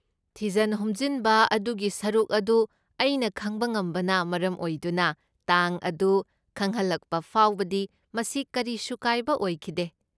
ꯊꯤꯖꯟ ꯍꯨꯝꯖꯟꯕ ꯑꯗꯨꯒꯤ ꯁꯔꯨꯛ ꯑꯗꯨ ꯑꯩꯅ ꯈꯪꯕ ꯉꯝꯕꯅ ꯃꯔꯝ ꯑꯣꯏꯗꯨꯅ, ꯇꯥꯡ ꯑꯗꯨ ꯈꯪꯍꯜꯂꯛꯄ ꯐꯥꯎꯕꯗꯤ ꯃꯁꯤ ꯀꯔꯤꯁꯨ ꯀꯥꯏꯕ ꯑꯣꯏꯈꯤꯗꯦ꯫